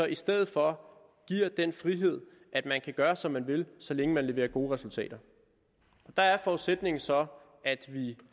i stedet for giver den frihed at man kan gøre som man vil så længe man leverer gode resultater der er forudsætningen så at vi